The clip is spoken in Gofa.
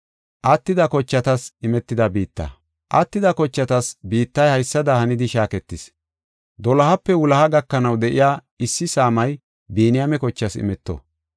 “Attida kochatas biittay haysada hanidi shaaketis. Dolohape wuloha gakanaw de7iya issi saamay Biniyaame kochaas imeto.